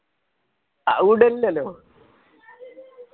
അതു വിടൂല്ലല്ലോ